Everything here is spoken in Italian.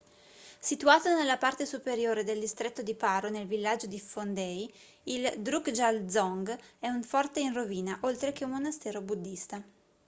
situato nella parte superiore del distretto di paro nel villaggio di phondey il drukgyal dzong è un forte in rovina oltre che un monastero buddista